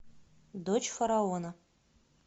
дочь фараона